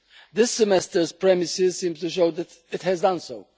This semester's premises seem to show that it has done so.